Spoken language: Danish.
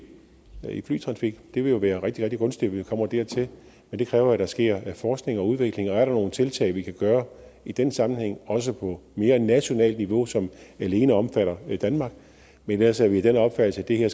flytrafik det vil jo være rigtig rigtig gunstigt hvis vi kommer dertil men det kræver at der sker forskning og udvikling og er nogle tiltag vi kan gøre i den sammenhæng også på mere nationalt niveau som alene omfatter danmark men ellers er vi af den opfattelse at det her